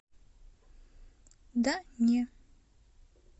да не